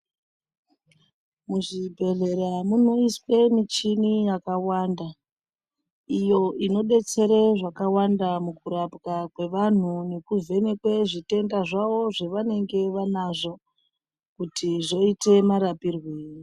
Muzvibhehlera munoiswe michini yakawanda iyo inodetsere zvakawanda mukurapwa kwevanhu nekuvhenekwe zvitenda zvavo zvavanenge vanazvo kuti zvoite marapirwei.